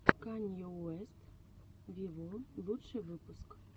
канье уэст виво лучший выпуск